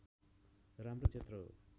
राम्रो क्षेत्र हो